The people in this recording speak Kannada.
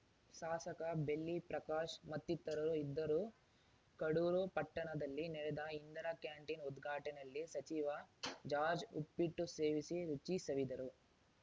ಶಾಸಕ ಬೆಳ್ಳಿ ಪ್ರಕಾಶ್‌ ಮತ್ತಿತರರು ಇದ್ದರು ಕಡೂರು ಪಟ್ಟಣದಲ್ಲಿ ನಡೆದ ಇಂದಿರಾ ಕ್ಯಾಂಟೀನ್‌ ಉದ್ಘಾಟನೆಲ್ಲಿ ಸಚಿವ ಜಾರ್ಜ್ ಉಪ್ಪಿಟ್ಟು ಸೇವಿಸಿ ರುಚಿ ಸವಿದರು